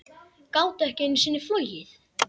Gátu ekki einu sinni flogið.